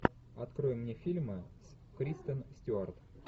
открой мне фильмы с кристен стюарт